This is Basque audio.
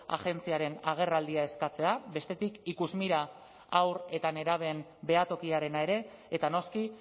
agentziaren agerraldia eskatzea bestetik ikusmira haur eta nerabeen behatokiarena ere eta noski